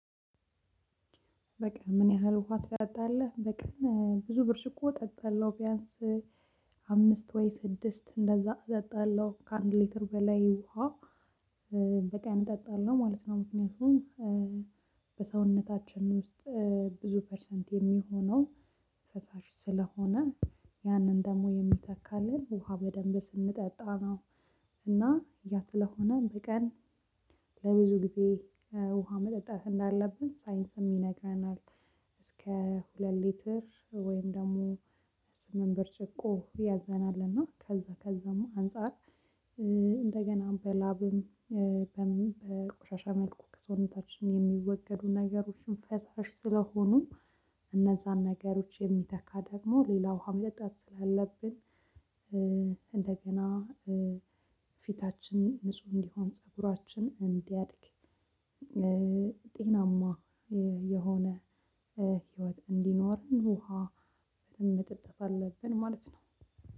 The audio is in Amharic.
በቀን ምን ያህል ውሃ ትጠጣለህ? በቀን ብዙ ብርጭቆ እጠጣለሁ ቢያንስ አምስት ወይ ስድስት እንደዛ እጠጣለሁ ከአንድ ሊትር በላይ ውሃ በቀን እጠጣለው ማለት ነው። ምክንያቱም በሰውነታችን ውስጥ ብዙ ፐርሰንት የሚሆነው ፈሻሽ ስለሆነ ያንን ደግሞ የሚተካልን ውሃ በደንብ ስንጠጣ ነው። ያ ስለሆነ በቀን ለብዙ ጊዜ ውሃ መጠጣት እንዳለብን ሳይንስም ይነግረናል። እስከ ሁለት ሊትር ወይም ደግሞ ስምንት ብርጭቆ ያዘናል እና ከዛ ከዛም አንፃር። እንደገና በላብም በምን በቁሻሻ መልኩ ከሰውነታችን የሚወገዱ ነገሮችን ፈሳሽ ስለሆኑ እነዛን ነገሮች የሚተካ ደግሞ ሌላ ውሃ መጠጣት ስላለብን። እንደገና ፊታችን ንጹህ እንዲሆን ፀጉራችን እንዲያድግ ጤናማ የሆነ ህይወት እንዲኖርን ውሃ በደንብ መጠጣት አለብን ማለት ነው።